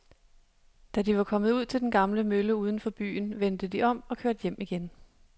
Da de var kommet ud til den gamle mølle uden for byen, vendte de om og kørte hjem igen.